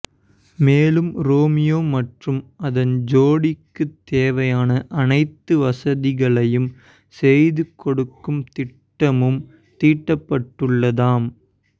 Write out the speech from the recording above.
மேலும் ரோமியோ மற்றும் அதன் ஜோடிக்கு தேவையான அனைத்து வசதிகளையும் செய்து கொடுக்கும் திட்டமும் தீட்டப்பட்டுள்ளதாம்